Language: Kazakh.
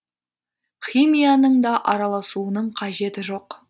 химияның да араласуының қажеті жоқ